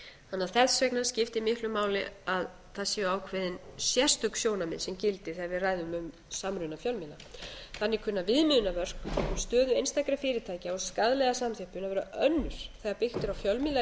að þess vegna skiptir miklu máli að það séu ákveðin sérstök sjónarmið sem gildi þegar við ræðum um samruna fjölmiðla þannig kunna viðmiðunarmörk um stöðu einstakra fyrirtækja og skaðlega samþjöppun að vera önnur þegar byggt